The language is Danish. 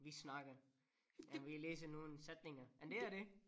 Vi snakker og vi læser nogle sætninger om det og det